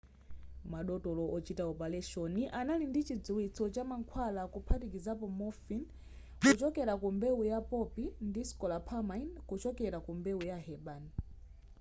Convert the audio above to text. madotolo ochita opaleshoni anali ndi chidziwitso cha mankhwala kuphatikiza morphine kuchokera ku mbewu ya poppy ndi scopolamine kuchokera ku mbewu ya herbane